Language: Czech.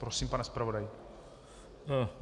Prosím, pane zpravodaji.